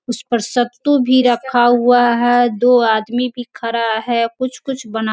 उसपर सत्तु भी रखा हुआ है दो आदमी भी खड़ा है कुछ-कुछ बना --